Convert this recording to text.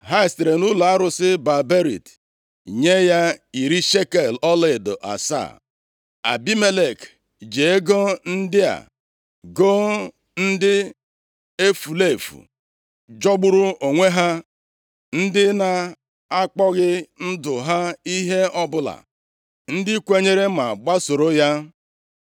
Ha sitere nʼụlọ arụsị Baal-Berit nye ya iri shekel ọlaedo asaa. Abimelek ji ego ndị a goo ndị efulefu jọgburu onwe ha, ndị na-akpọghị ndụ ha ihe ọbụla, ndị kwenyere ma gbasoro ya.